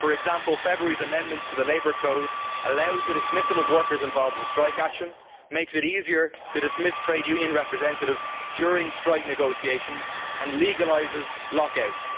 For example, February's amendments to the labour code allow the dismissal of workers involved in strike action, makes it easier to dismiss trade union representatives during strike negotiations and legalises lock outs.